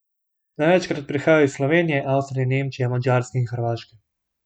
Največkrat prihajajo iz Slovenije, Avstrije, Nemčije, Madžarske in Hrvaške.